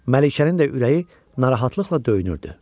Məlikənin də ürəyi narahatlıqla döyünürdü.